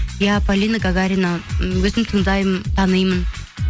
иә полина гагарина м өзім тыңдаймын танимын